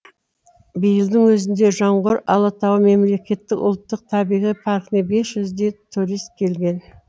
биылдың өзінде жоңғар алатауы мемлекеттік ұлттық табиғи паркіне бес жүздей турист келген